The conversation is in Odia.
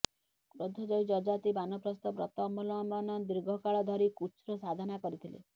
କ୍ରୋଧଜୟୀ ଯଯାତି ବାନପ୍ରସ୍ଥ ବ୍ରତ ଅବଲମ୍ବନ ଦୀର୍ଘକାଳ ଧରି କୃଚ୍ଛ୍ର ସାଧନା କରିଥିଲେ